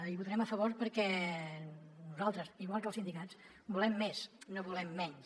i hi votarem a favor perquè nosaltres igual que els sindicats volem més no volem menys